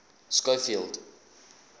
schofield